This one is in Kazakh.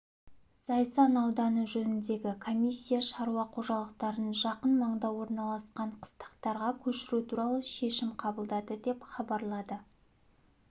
зайсан ауданы жөніндегі комиссия шаруа қожалықтарын жақын маңда орналасқан қыстақтарға көшіру туралы шешім қабылдады деп хабарлады